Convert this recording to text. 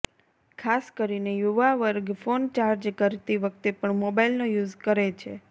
ખાસ કરીને યુવા વર્ગ ફોન ચાર્જ કરતી વખતે પણ મોબાઇલનો યુઝ કરે છે